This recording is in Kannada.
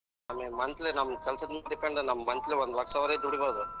monthly ನಮ್ ಕೆಲ್ಸದ್ ಮೇಲ್ depend ನಮ್ monthly ಒಂದ್ ವರ್ಷದ್ವರೆಗ್ ದುಡಿಬೋದು .